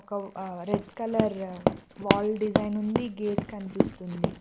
Red colour wall design ఉంది gate కనిపిస్తుంది.